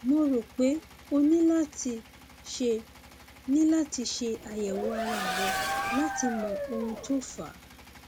mo rò pé o ní láti ṣe ní láti ṣe àyẹwò ara rẹ láti mọ ohun tó fà á